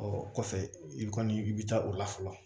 Ɔ kɔfɛ i kɔni i bɛ taa o la fɔlɔ